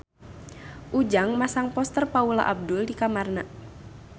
Ujang masang poster Paula Abdul di kamarna